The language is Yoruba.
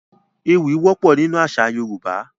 Poems are common in Yoruba culture